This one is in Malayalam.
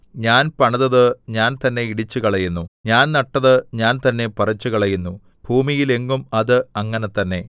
ഞാൻ പണിതത് ഞാൻ തന്നെ ഇടിച്ചുകളയുന്നു ഞാൻ നട്ടത് ഞാൻ തന്നെ പറിച്ചുകളയുന്നു ഭൂമിയിൽ എങ്ങും അത് അങ്ങനെ തന്നെ